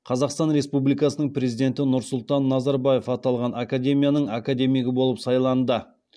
қазақстан республикасының президенті нұрсұлтан назарбаев аталған академияның академигі болып сайланды